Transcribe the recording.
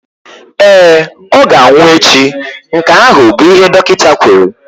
Ee, ọ ga-anwụ echi, nke ahụ bụ ihe dọkịta kwuru.